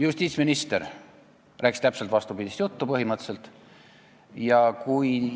Justiitsminister rääkis põhimõtteliselt täpselt vastupidist juttu.